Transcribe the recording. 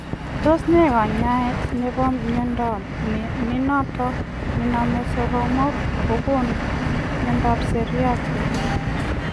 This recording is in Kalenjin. Tos nee kanyaet nepoo miondoo nenotok nomee soromok agogonuu miondoop siryat eng